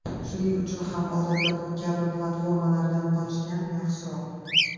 Shuning uchun ham odatda bu kabi platformalardan qochgan yaxshiroq.